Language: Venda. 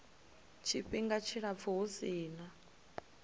tshifhinga tshilapfu hu si na